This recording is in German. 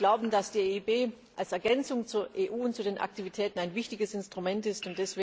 Wir glauben, dass die EIB als Ergänzung zur EU und zu den wichtigen Aktivitäten ein wichtiges Instrument